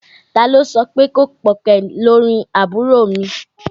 Ta ló sọpé kò pọ̀ kẹ̀ lórin àbúrò mi.